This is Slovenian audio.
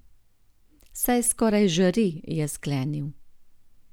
Saj skoraj žari, je sklenil.